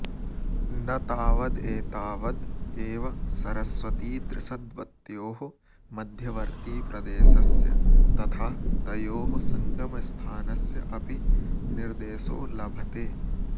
न तावदेतावद् एव सरस्वतीदृषद्वत्योः मध्यवर्तीप्रदेशस्य तथा तयोः सङ्गमस्थानस्य अपि निर्देशो लभते